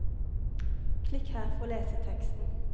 Klikk her for å lese teksten.